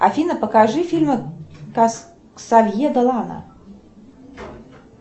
афина покажи фильмы ксавье долана